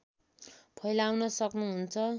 फैलाउन सक्नुहुन्छ